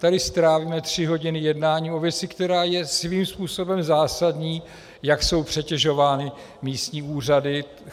Tady strávíme tři hodiny jednáním o věci, která je svým způsobem zásadní, jak jsou přetěžovány místní úřady.